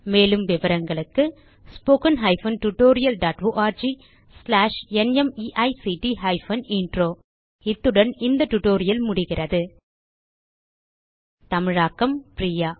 மேலும் விவரங்களுக்கு 1 இத்துடன் இந்த டியூட்டோரியல் முடிகிறது தமிழாக்கம் பிரியா